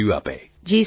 Tarannum Khan ji sir